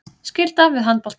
Skylda við handboltann